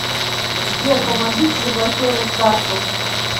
сбер помогите заблокировать карту